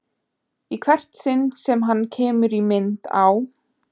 Í hvert sinn sem hann kemur í mynd á